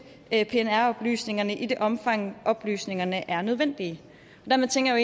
pnr oplysningerne i det omfang oplysningerne er nødvendige dermed tænker